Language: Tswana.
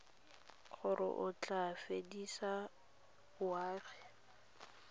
gore o tla fedisa boagi